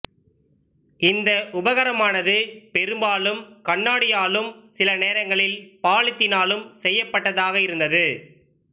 இந்த உபகரணமானது பெரும்பாலும் கண்ணாடியாலும் சில நேரங்களில் பாலித்தீனாலும் செய்யப்பட்டதாக இருந்தது